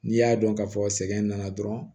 N'i y'a dɔn ka fɔ sɛgɛn nana dɔrɔn